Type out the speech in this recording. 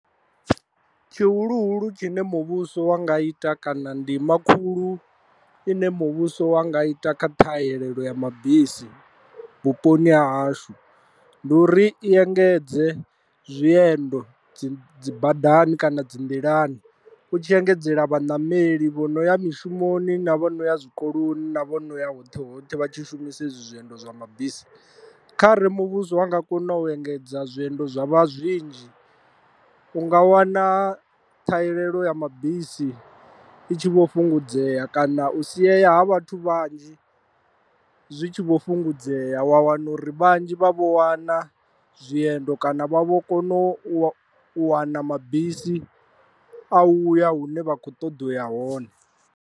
Tshihuluhulu tshine muvhuso wa nga ita kana ndima khulu ine muvhuso wa nga ita kha ṱhahelelo ya mabisi vhuponi ha hashu, ndi uri i engedze zwiendo dzi badani kana dzi nḓilani u tshi engedzela vhaṋameli vho no ya mishumoni na vho no ya zwikoloni na vhono ya hoṱhe hoṱhe vha tshi shumisa hezwi zwiendo zwa mabisi, khare muvhuso wa nga kona u engedza zwiendo zwa vha zwinzhi u nga wana ṱhahelelo ya mabisi i tshi vho fhungudzea kana u siyeya ha vhathu vhanzhi zwi tshi vho fhungudzea wa wana uri vhanzhi vha vho wana zwiendo kana vha vho kona u wana mabisi a u ya hune vha kho ṱoḓa u ya hone.